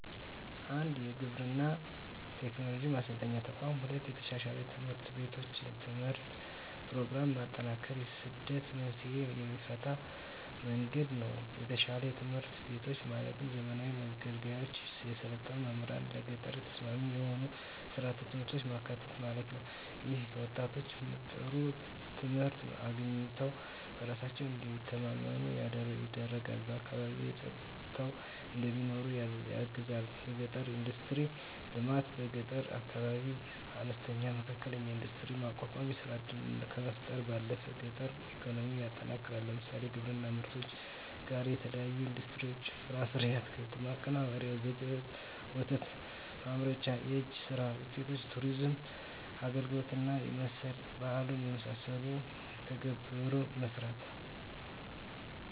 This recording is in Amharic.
1. የግብርና ቴክኖሎጂ ማሰልጠኛ ተቋማት 2. የተሻሻሉ ትምህርት ቤቶችና የትምህርት ፕሮግራሞች ማጠናከር የስደት መንስኤን የሚፈታበት መንገድ ነው የተሻሻሉ ትምህርት ቤቶች ማለትም ዘመናዊ መገልገያዎች፣ የሰለጠኑ መምህራንና ለገጠር ተስማሚ የሆኑ ሥርዓተ ትምህርቶች ማካተት ማለት ነው። ይህም ወጣቶች ጥሩ ትምህርት አግኝተው በራሳቸው እንዲተማመኑ ይረዳልና በአካባቢያቸው ፀንተው እንዲኖሩ ያግዛል 3. የገጠር ኢንዱስትሪዎች ልማት በገጠር አካባቢዎች አነስተኛና መካከለኛ ኢንዱስትሪዎችን ማቋቋም የሥራ ዕድልን ከመፍጠር ባለፈ የገጠር ኢኮኖሚን ያጠናክራል። ለምሳሌ፣ ከግብርና ምርቶች ጋር የተያያዙ ኢንዱስትሪዎች (ፍራፍሬና አትክልት ማቀነባበሪያ፣ የወተት ተዋጽኦ ማምረቻ)፣ የእጅ ሥራ ውጤቶች፣ የቱሪዝም አገልግሎት እና መሠል ባህሉን የመሠሉ ተግባራትን መሥራት